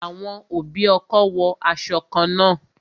Àwọn òbí ọkọ wo aṣọ kan náà